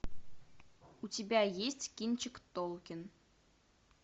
у тебя есть кинчик толкин